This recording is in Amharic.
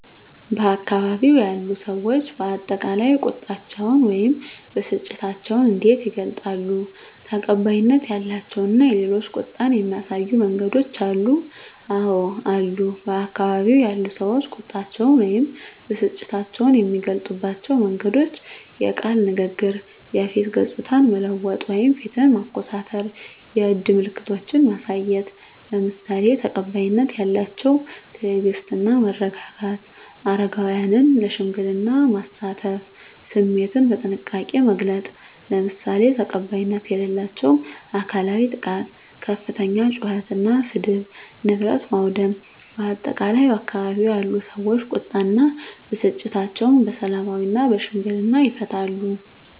በአካባቢው ያሉ ሰዎች በአጠቃላይ ቁጣቸውን ወይም ብስጭታቸውን እንዴት ይገልጻሉ? ተቀባይነት ያላቸው እና የሌላቸው ቁጣን የሚያሳዩ መንገዶች አሉ? *አወ አሉ፦ በአካባቢው ያሉ ሰዎች ቁጣቸውን ወይም ብስጭታቸውን የሚገልጹባቸው መንገዶች፦ * የቃል ንግግር *የፊት ገጽታን መለወጥ (ፊትን ማኮሳተር)፣ *የእጅ ምልክቶችን ማሳየት፣ **ለምሳሌ፦ ተቀባይነት ያላቸው * ትዕግስት እና መረጋጋት: * አረጋውያንን ለሽምግልና ማሳተፍ።: * ስሜትን በጥንቃቄ መግለጽ: **ለምሳሌ፦ ተቀባይነት የሌላቸው * አካላዊ ጥቃት * ከፍተኛ ጩኸት እና ስድብ: * ንብረት ማውደም: በአጠቃላይ፣ ባካባቢው ያሉ ሰዎች ቁጣ እና ብስጭታቸውን በሰላማዊና በሽምግልና ይፈታሉ።